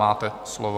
Máte slovo.